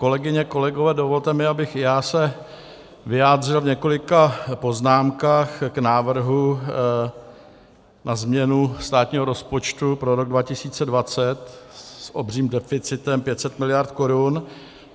Kolegyně, kolegové, dovolte mi, abych i já se vyjádřil v několika poznámkách k návrhu na změnu státního rozpočtu pro rok 2020 s obřím deficitem 500 miliard korun.